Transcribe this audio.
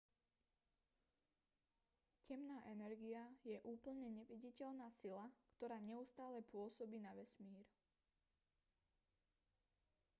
temná energia je úplne neviditeľná sila ktorá neustále pôsobí na vesmír